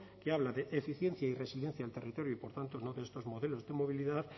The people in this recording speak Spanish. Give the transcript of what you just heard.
que habla de eficiencia y resiliencia del territorio y por tanto no de estos modelos de movilidad